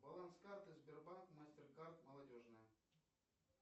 баланс карты сбербанк мастеркард молодежная